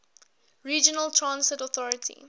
regional transit authority